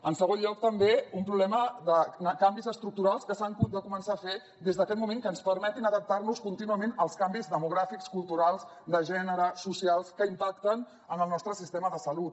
en segon lloc també un problema de canvis estructurals que s’han de començar a fer des d’aquest moment que ens permetin adaptarnos contínuament als canvis demogràfics culturals de gènere socials que impacten en el nostre sistema de salut